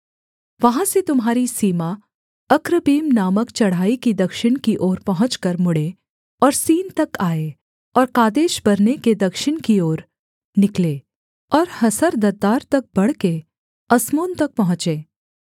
वहाँ से तुम्हारी सीमा अक्रब्बीम नामक चढ़ाई की दक्षिण की ओर पहुँचकर मुड़ें और सीन तक आए और कादेशबर्ने के दक्षिण की ओर निकले और हसरद्दार तक बढ़के अस्मोन तक पहुँचे